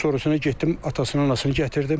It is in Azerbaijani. Sonrasına getdim atasını-anasını gətirdim.